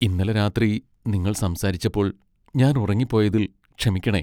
ഇന്നലെ രാത്രി നിങ്ങൾ സംസാരിച്ചപ്പോൾ ഞാൻ ഉറങ്ങിപ്പോയതിൽ ക്ഷമിക്കണേ.